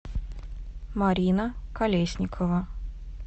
марина колесникова